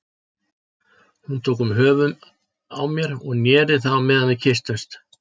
Hún tók um höfuðið á mér og neri það á meðan við kysstumst.